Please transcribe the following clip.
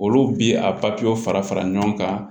Olu bi a fara fara ɲɔgɔn kan